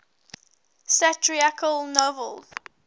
satirical novels